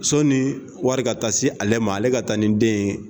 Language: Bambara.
Sɔni wari ka taa se ale ma, ale ka taa ni den ye.